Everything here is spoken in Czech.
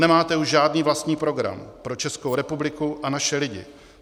Nemáte už žádný vlastní program pro Českou republiku a naše lidi.